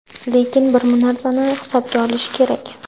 Lekin, bir narsani hisobga olishi kerak.